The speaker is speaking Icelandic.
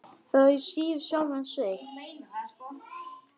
Þaðan af síður sjálfan sig.